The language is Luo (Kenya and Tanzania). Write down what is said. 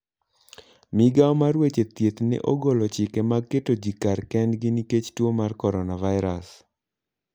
Migawo mar weche thieth ne ogolo chike mag keto ji kar kendgi nikech tuo mar coronavirus.